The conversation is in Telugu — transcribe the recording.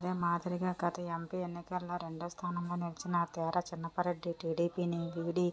అదే మాదిరిగా గత ఎంపీ ఎన్నికల్లో రెండో స్థానంలో నిలిచిన తేరా చిన్నపరెడ్డి టీడీపీని వీడి